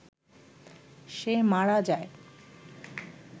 সে মারা যায়